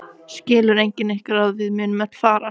Skilur enginn ykkar að við munum öll farast?